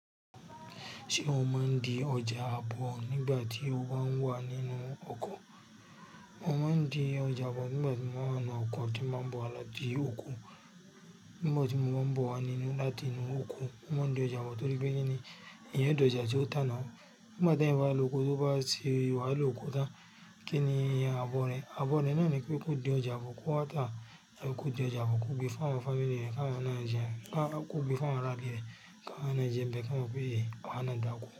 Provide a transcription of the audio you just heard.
Ṣé o máa ń di ọjà ààbò nígbà tí o bá ń wà nínú oko? Mo máa ń di ọjà ààbò nígbà tí mo wà nínú oko tí mo bá ń bọ̀ wá láti oko. Nígbà tí mo bá ń bọ̀ wá nínú láti inú oko, mo máa ń di ọjà ààbò torí pé kíni eeyan dẹ́ ọjà tí ó tá náà. Nígbà tí ẹ̀eyan bá lọ oko, tí ó bá si wáhala oko tán, kíni ì, ààbò rẹ. Ààbò rẹ naa pé kó di ọjà ààbò kó wá tá. Tabi kó di ọjà ààbò kó gbé fún àwọn fámílì rẹ k'áwon náà jẹun. Kó gbé fún àwọn ará ilé rẹ, k'áwon náà jẹ n bé kí wọn mo pé ye, awá ná dà ko.